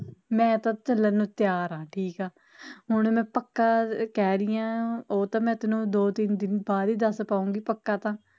ਮੈਂ ਤਾ ਚਲਣ ਨੂੰ ਤਿਆਰ ਆ, ਠੀਕ ਆ, ਹੁਣ ਮੈਂ ਪੱਕਾ ਕਹਿ ਰਹੀ ਆ, ਉਹ ਤਾਂ ਮੈਂ ਤੈਨੂੰ ਦੋ ਤਿਨ ਦਿਨ ਬਾਦ ਈ ਦਸ ਪਾਊਗੀ ਪੱਕਾ ਤਾ